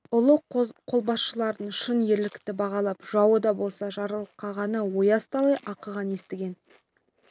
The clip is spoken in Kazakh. ұлы қолбасшылардың шын ерлікті бағалап жауы да болса жарылқағанын ояз талай оқыған естіген